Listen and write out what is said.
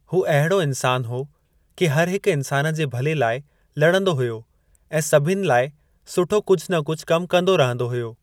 हू अहिड़ो इंसान हो कि हर हिकु इंसान जे भले लाइ लड़ंदो हुयो ऐं सभिनि लाइ सुठो कुझु न कुझु कमु कंदो रहिंदो हुयो।